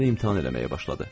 O məni imtahan eləməyə başladı.